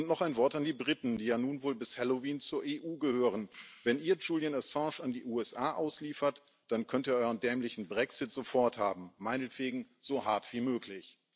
Und noch ein Wort an die Briten, die ja nun wohl bis Halloween zur EU gehören Wenn ihr Julian Assange an die USA ausliefert, dann könnt ihr euren dämlichen Brexit sofort haben, meinetwegen so hart wie möglich.